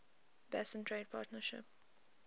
basin trade partnership